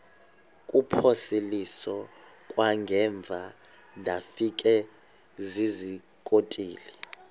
kuphosiliso kwangaemva ndafikezizikotile